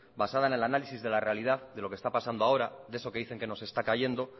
basada en el análisis de la realidad de lo que está pasando ahora de eso que dice que nos está cayendo